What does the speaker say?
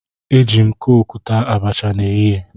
Eji m kooku taa abacha n'ehihie